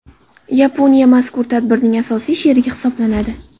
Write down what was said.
Yaponiya mazkur tadbirning asosiy sherigi hisoblanadi.